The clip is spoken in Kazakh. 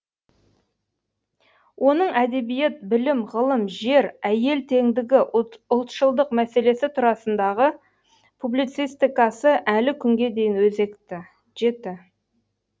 оның әдебиет білім ғылым жер әйел теңдігі ұлтшылдық мәселесі турасындағы публицистикасы әлі күнге дейін өзекті жеті